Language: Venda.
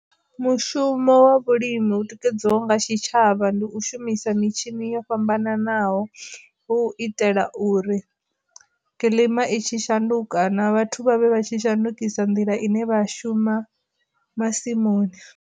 Mushumo wa vhulimi hu tikedzwaho nga tshitshavha ndi u shumisa mitshini yo fhambananaho hu itela uri kiḽima i tshi shanduka na vhathu vhavhe vha tshi shandukisa nḓila ine vha shuma masimuni.